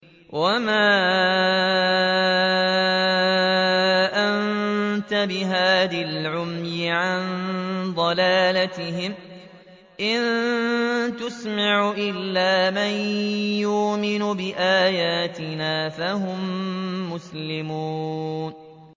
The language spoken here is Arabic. وَمَا أَنتَ بِهَادِ الْعُمْيِ عَن ضَلَالَتِهِمْ ۖ إِن تُسْمِعُ إِلَّا مَن يُؤْمِنُ بِآيَاتِنَا فَهُم مُّسْلِمُونَ